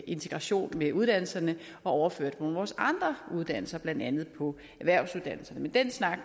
integration med uddannelserne og overføre dem nogle af vores andre uddannelser blandt andet erhvervsuddannelserne men den snak